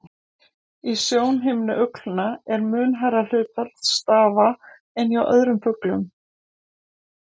Í sjónhimnu uglna er mun hærra hlutfall stafa en hjá öðrum fuglum.